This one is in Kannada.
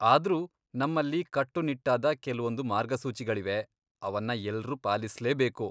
ಆದ್ರೂ, ನಮ್ಮಲ್ಲಿ ಕಟ್ಟುನಿಟ್ಟಾದ ಕೆಲ್ವೊಂದು ಮಾರ್ಗಸೂಚಿಗಳಿವೆ, ಅವನ್ನ ಎಲ್ರೂ ಪಾಲಿಸ್ಲೇಬೇಕು.